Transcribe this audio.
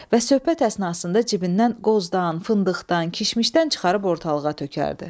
Və söhbət əsnasında cibindən qozdan, fındıqdan, kişmişdən çıxarıb ortalığa tökərdi.